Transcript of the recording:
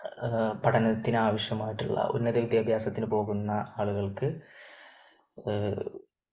പഠനത്തിനാവശ്യമായിട്ടുള്ള ഉന്നത വിദ്യാഭ്യാസത്തിന് പോകുന്ന ആളുകൾക്ക്